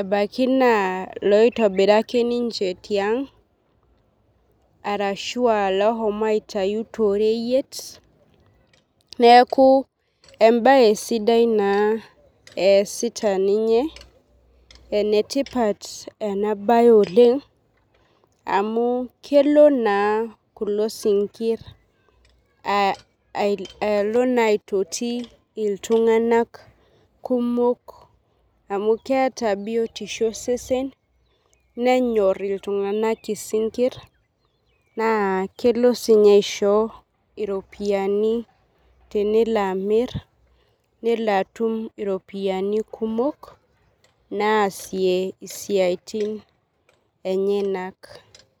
Ebaki naa loitobira ake ninche tiang' arashu loshomo aitayu toreyet neeku ebae sidai naa esita ninye enetipat ena bae Oleng' amuu kelo naa kulo sinkir alo naa aitoti iltung'anak kumok amu keeta biotisho osesen nenyorr iltung'anak isinkir naa kelo sii ninye aisho iropiani tenelo amir nelo atum iropiani kumok naasie isiatin enyenak.